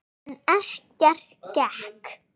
En ekkert gekk.